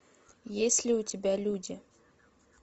есть ли у тебя люди